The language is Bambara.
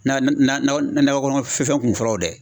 kɔnɔ fɛn kun fɔlɔ dɛ.